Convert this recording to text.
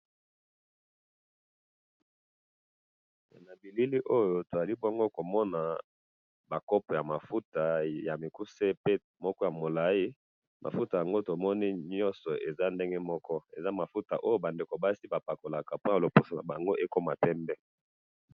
na elili oyo tozali bongo komona ba copo ya mafuta ya mukuse pe moko mulayi mafuta oyo tomoni ezali yango nyonso ndenge moko ezali mafuta oyo ba ndekjo basi bapakolaka pona bazala pembe.